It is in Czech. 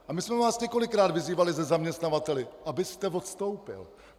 A my jsme vás několikrát vyzývali se zaměstnavateli, abyste odstoupil.